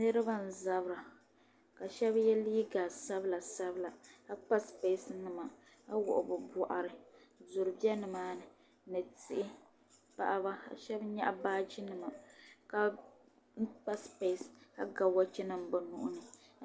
niriba n-zabira la shɛba ye liiga sabila sabila ka kpa sipesi nima ka wuɣi bɛ bɔɣiri duri be ni maa ni ni tihi paɣaba ka shɛba nyaɣi baaji nima la kpa sipeesi ka ga wɔchi nima bɛ nuhi ni.